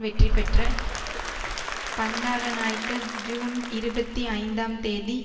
வெற்றி பெற்ற பண்டாரநாயக்க ஜூன் இருபத்தி ஐந்தாம் தேதி